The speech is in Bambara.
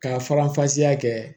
Ka faranfasiya kɛ